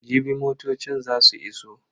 Jibi motocin za su iso.